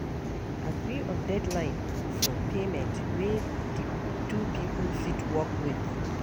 Agree on deadline for payment wey di two pipo fit work with